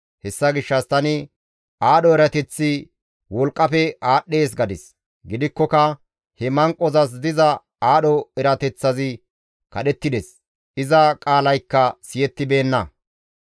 Hessa gishshas tani, «Aadho erateththi wolqqafe aadhdhees» gadis. Gidikkoka he manqozas diza aadho erateththazi kadhettides; iza qaalaykka siyettibeenna.